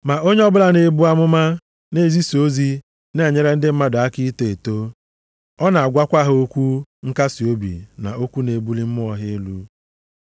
Ma onye ọbụla na-ebu amụma na-ezisa ozi na-enyere ndị mmadụ aka ito eto. Ọ na-agwakwa ha okwu nkasiobi na okwu na-ebuli mmụọ ha elu.